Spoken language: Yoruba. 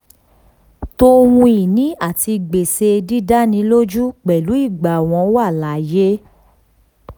to ohun ìní àti gbèsè dídánilójú pẹ̀lú ìgbà wọ́n wà láàyè.